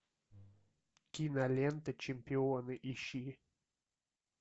кинолента чемпионы ищи